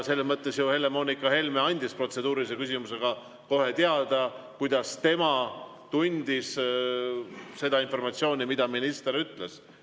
Selles mõttes ju Helle-Moonika Helme andis protseduurilise küsimusega kohe teada, kuidas tema tundis seda informatsiooni, mida minister ütles.